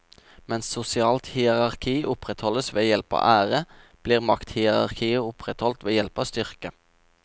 Mens sosialt hierarki opprettholdes ved hjelp av ære, blir makthierarkiet opprettholdt ved hjelp av styrke.